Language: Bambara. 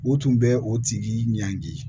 O tun bɛ o tigi ɲangi